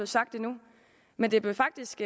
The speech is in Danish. sagt endnu men det blev faktisk